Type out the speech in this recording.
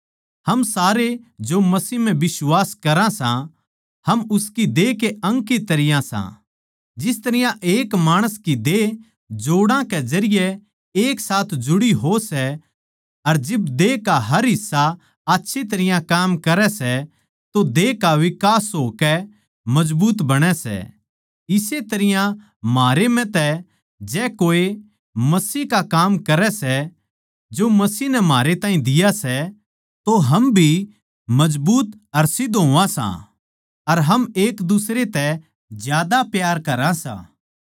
हम सारे जो मसीह म्ह बिश्वास करां सां हम उसकी देह के अंग की तरियां सां जिस तरियां एक माणस की देह जोड़ा के जरिये एक साथ जुड़ी हो सै अर जिब देह का हर हिस्सा आच्छी तरियां काम करै सै तो देह का विकास होकै मजबूत बणे सै इस्से तरियां म्हारे म्ह तै जै कोए मसीह का काम करै सै जो मसीह नै म्हारे ताहीं दिया सै तो हम भी मजबूत अर सिध्द होवां सां अर हम एक दुसरे तै ज्यादा प्यार करां सां